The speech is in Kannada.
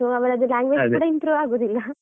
So ಅವ್ರದ್ language improve ಆಗುದಿಲ್ಲ .